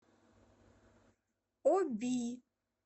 оби